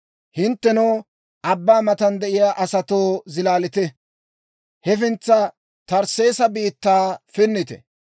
Hinttenoo abbaa matan de'iyaa asatoo, zilaalite; hefintsa Tarsseesa biittaa pinnite.